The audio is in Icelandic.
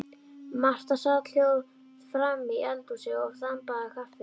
Marta sat hljóð framí eldhúsi og þambaði kaffi.